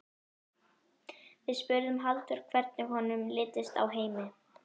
Við spurðum Halldór hvernig honum litist á Heimi?